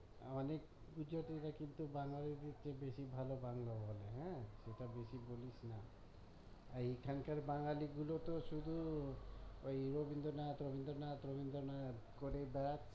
আমাদের গুজরাটিরা কিন্তু বাঙ্গালীদের চেয়ে বেশি ভালো বাংলা বলে হ্যাঁ সেটা বেশি বলিস না আর এখানকার বাঙালি গুলো তো শুধু ওই রবীন্দ্রনাথ রবীন্দ্রনাথ রবীন্দ্রনাথ করেই বেড়াচ্ছে